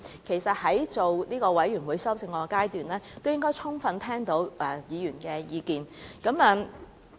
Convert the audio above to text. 其實，政府在全體委員會審議階段，應該已經充分聽到委員的意見。